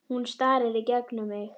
Hún starir í gegnum mig.